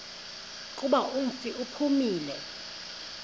kuba umfi uphumile